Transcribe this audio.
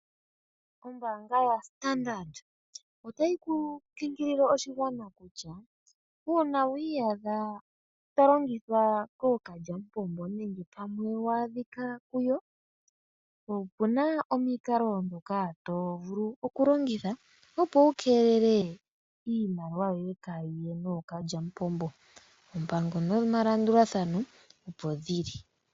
Ombaanga ya Standard otayi kunkilile oshigwana kutya uuna wi iyadha tolongithwa kookalyamupombo nenge wa adhika kuyo opuna omikalo ndhoka tovulu okulongitha opo wu keelele iimaliwa yoye kayiye nookalyamupombo . Ompango nomalandulathano opo dhili.